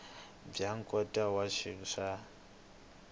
bya nkhaqato wa xiyimo xa